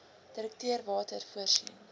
direkteur water voorsien